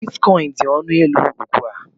Bitkọịn dị ọnụ élú ugbu a.